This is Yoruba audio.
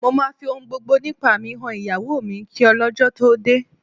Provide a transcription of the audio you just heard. Mo máa fi ohun gbogbo nípa mi han ìyàwó mi kí ọlọ́jọ́ tó dé